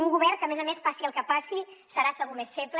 un govern que a més a més passi el que passi serà segur més feble